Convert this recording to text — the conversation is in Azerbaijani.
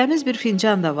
Təmiz bir fincan da var.